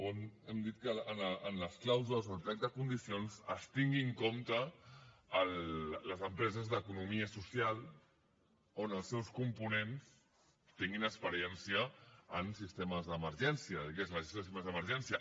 on hem dit que en les clàusules o al plec de condicions es tinguin en compte les empreses d’economia social on els seus components tinguin experiència en sistemes d’emergència el que és la gestió dels sistemes d’emergència